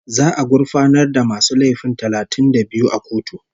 Za'a gurfanar da masu laifi talatin da biyu a kotu